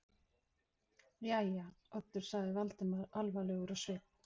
Jæja, Oddur sagði Valdimar alvarlegur á svip.